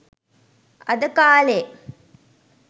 අද කාලෙ